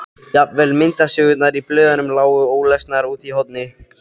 Jafnvel myndasögurnar í blöðunum lágu ólesnar úti í horni.